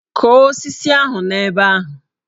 Kụọ osisi ahụ n'ebe ahụ!